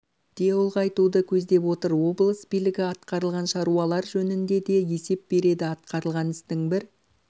де ұлғайтуды көздеп отыр облыс билігі атқарылған шаруалар жөніңде де есеп береді атқарылған істің бір